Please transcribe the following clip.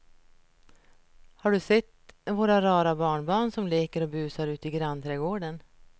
Har du sett våra rara barnbarn som leker och busar ute i grannträdgården!